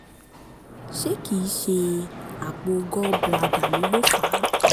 ṣé kìí ṣe àpò um gall bladder mi ló fà á?